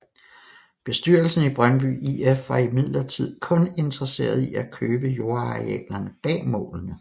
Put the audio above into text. Bestyrelsen i Brøndby IF var imidlertid kun interesseret i at købe jordarealerne bag målene